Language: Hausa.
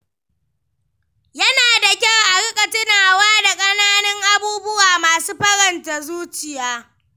Yana da kyau a riƙa tunawa da ƙananan abubuwa masu faranta zuciya.